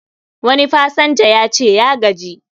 Wani pasanja yace ya gaji